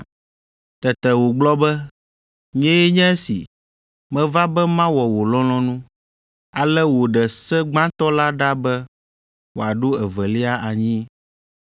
Tete wògblɔ be, “Nyee nye esi, meva be mawɔ wò lɔlɔ̃nu.” Ale wòɖe se gbãtɔ la ɖa be wòaɖo evelia anyi.